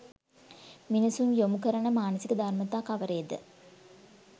මිනිසුන් යොමු කරන මානසික ධර්මතා කවරේද?